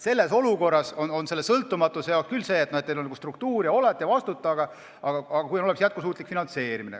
Selles olukorras on selle sõltumatusega küll nii, et teil on struktuur ja te olete ja vastutate, aga peaks olema ka jätkusuutlik finantseerimine.